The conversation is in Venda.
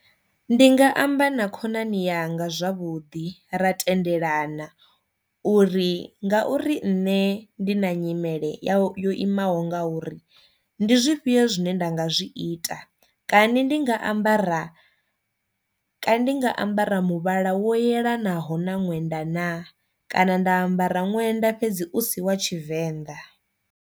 Ndinga amba na khonani yanga zwavhuḓi ra tendelana uri ngauri nne ndi na nyimele ya yo imaho nga uri ndi zwifhio zwine nda nga zwi ita kani ndi nga ambara kani ndi nga ambara muvhala wo yelanaho na ṅwenda na, kana nda ambara ṅwenda fhedzi u si wa tshivenḓa.